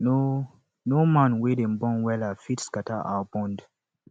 no no man wey dem born wella fit scatter our bond